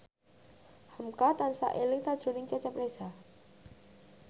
hamka tansah eling sakjroning Cecep Reza